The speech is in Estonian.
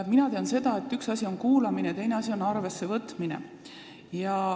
Mina tean seda, et üks asi on kuulamine ja teine asi on arvessevõtmine.